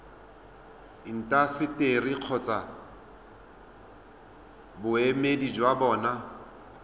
intaseteri kgotsa boemedi jwa bona